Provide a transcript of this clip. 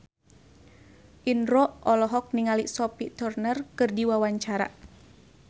Indro olohok ningali Sophie Turner keur diwawancara